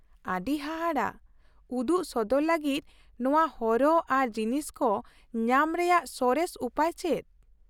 ᱟᱹᱰᱤ ᱦᱟᱦᱟᱲᱟᱜ ᱾ ᱩᱫᱩᱜ ᱥᱚᱫᱚᱨ ᱞᱟᱹᱜᱤᱫ ᱱᱚᱶᱟ ᱦᱚᱨᱚᱜ ᱟᱨ ᱡᱤᱱᱤᱥ ᱠᱚ ᱧᱟᱢ ᱨᱮᱭᱟᱜ ᱥᱚᱨᱮᱥ ᱩᱯᱟᱹᱭ ᱪᱮᱫ ?